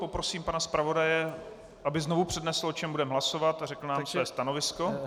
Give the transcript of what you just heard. Poprosím pana zpravodaje, aby znovu přednesl, o čem budeme hlasovat, a řekl nám své stanovisko.